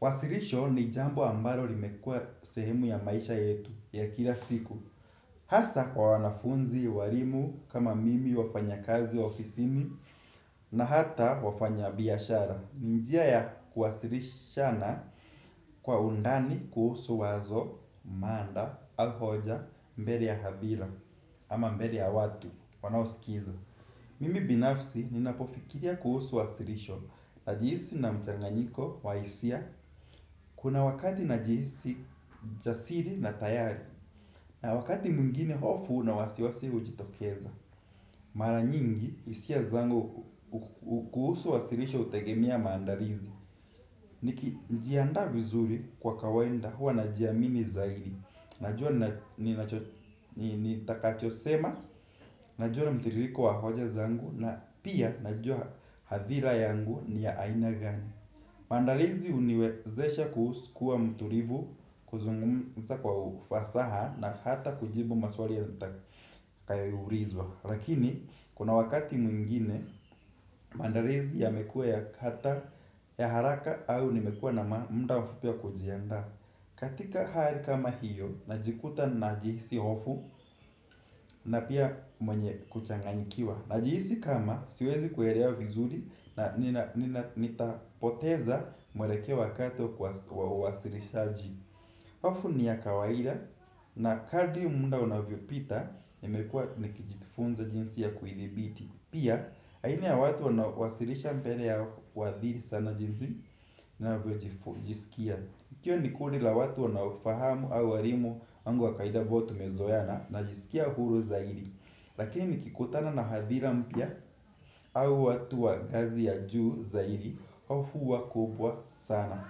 Wasilisho ni jambo ambalo limekua sehemu ya maisha yetu ya kila siku. Hasa kwa wanafunzi, walimu, kama mimi wafanya kazi ofisini na hata wafanya biashara. Njia ya kuwasilishana kwa undani kuhusu wazo, mada, au hoja, mbele ya hadhira ama mbele ya watu wanaoskiza mimi binafsi ninapofikiria kuhusu wasilisho. Najisihi na mchanganyiko wahisia kuna wakati najisi jasiri na tayari. Na wakati mwingine hofu na wasiwasi hujitokeza. Mara nyingi hisia zangu kuhusu wasirisho hutegemea maandalizi nikijiandaa vizuri kwa kawaida huwa najiamini zaidi najua ninacho nitakachosema najua mtiririko wa hoja zangu na pia najua hadhira yangu ni ya aina gani. Maandalizi huniwezesha kukua mtulivu kuzungumza kwa ufasaha na hata kujibu maswali nitakayoulizwa. Lakini kuna wakati mwingine mandalizi yamekua yaharaka au nimekua na muda mfupi wakujiandaa katika hali kama hiyo najikuta najihisi hofu na pia mwenye kuchanganyikiwa najihisi kama siwezi kuelewa vizuri nitapoteza mwelekeo wakati wa uwasilishaji. Wafu ni ya kawaira na kadri muda unavyopita nmekua nikijitifunza jinsi ya kuidhibiti pia aina ya watu wanaowasilisha mbele ya huathiri sana jinsi ninavyojisikia ikiwa nikundi la watu unawafahamu au walimu wangu wakaida ambao tumezoeana najisikia huru zaidi. Lakini nikikutana na hadhira mpya au watu wa ngazi ya juu zaidi hofu huwa kubwa sana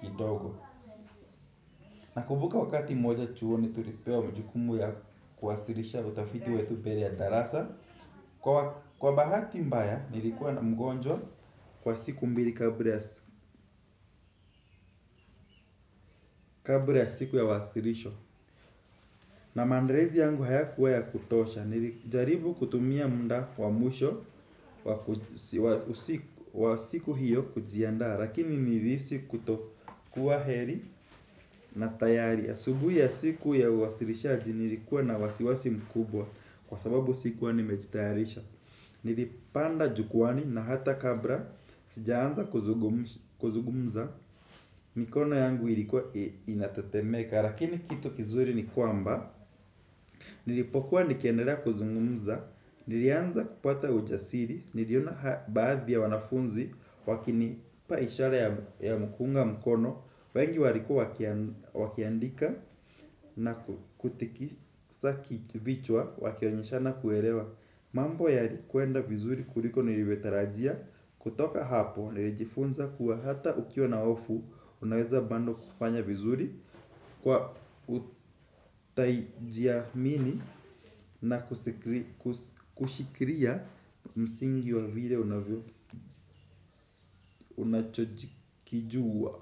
kidogo. Nakumbuka wakati mmoja chuoni tulipewa jukumu yakuwasilisha utafiti wetu mbele ya darasa kwa bahati mbaya nilikuwa na mgonjwa kwa siku mbili kabla ya siku ya wasilisho. Na maandalizi yangu hayakuwa ya kutosha, nilijaribu kutumia muda wa mwisho wa siku hiyo kujiandaa, lakini nilihisi kutokuwa heri na tayari. Asubui ya siku ya uwasilishaji nilikuwa na wasiwasi mkubwa, kwasababu sikuwa nimejitayarisha. Nilipanda jukwaani na hata kabla sijaanza kuzungumza mikono yangu ilikuwa inatetemeka lakini kitu kizuri ni kwamba nilipokuwa nikiendelea kuzungumza, nilianza kupata ujasiri, niliona baadhi ya wanafunzi wakinipa ishara ya kuunga mkono, wengi walikuwa wakiandika nakutikisa vichwa wakionyeshana kuelewa. Mambo yalikwenda vizuri kuliko nilivyotarajia, kutoka hapo nilijifunza kuwa hata ukiwa na hofu unaweza bado kufanya vizuri kwa kujiamini na kushikilia msingi wa vile unachokijua.